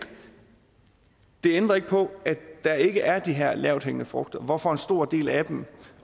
det ændrer ikke på at der ikke er de her lavthængende frugter hvorfor en stor del af dem